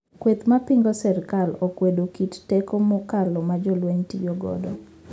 Kweth mapingo sirkal okwedo kito teko mokal majolweny tiyo godo